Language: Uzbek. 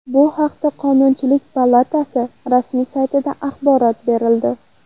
Bu haqda Qonunchilik palatasi rasmiy saytida axborot berildi .